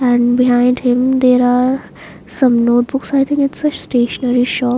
and behind him there are some notebooks i think it's a stationery shop.